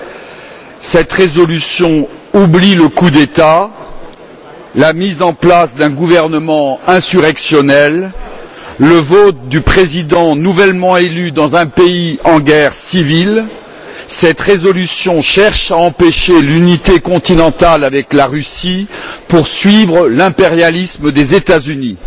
Parce que cette résolution faire l'impasse le coup d'État, la mise en place d'un gouvernement insurrectionnel, le vote du président nouvellement élu dans un pays en guerre civile. Cette résolution cherche à empêcher l'unité continentale avec la Russie pour suivre l'impérialisme des États Unis.